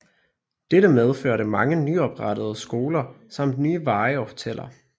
Dette medførte mange nyoprettede skoler samt nye veje og hoteller